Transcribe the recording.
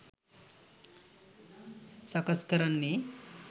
සකස් කරන්නෙ.